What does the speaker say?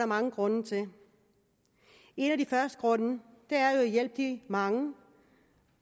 mange grunde til en af de første grunde er jo at hjælpe de mange